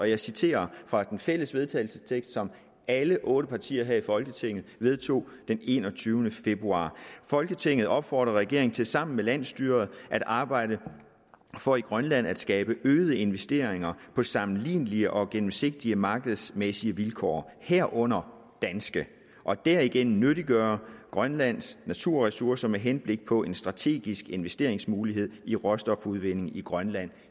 jeg citerer fra den fælles vedtagelsestekst som alle otte partier her i folketinget vedtog den enogtyvende februar folketinget opfordrer regeringen til sammen med landsstyret at arbejde for i grønland at skabe øgede investeringer på sammenlignelige og gennemsigtige markedsmæssige vilkår herunder danske og derigennem nyttiggøre grønlands naturressourcer med henblik på en strategisk investeringsmulighed i råstofudvinding i grønland